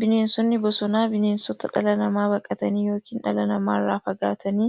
Bineensonni bosonaa bineensota dhala namaa baqatanii yookiin dhala namaa irraa fagaatanii